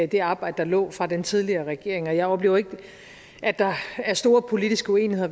det arbejde der lå fra den tidligere regering og jeg oplever ikke at der er store politiske uenigheder